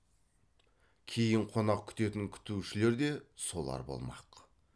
кейін қонақ күтетін күтушілер де солар болмақ